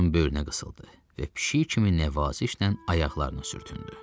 Onun böyrünə qısıldı və pişik kimi nəvazişlə ayaqlarına sürtündü.